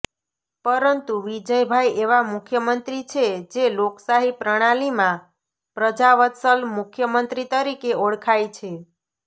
પરંતુ વિજયભાઇ એવા મુખ્યમંત્રી છે જે લોકશાહી પ્રણાલિમાં પ્રજાવત્સલ મુખ્યમંત્રી તરીકે ઓળખાય છે